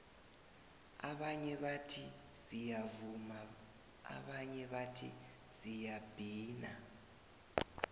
abanye bathi siyavuma abanye bathi siyabhina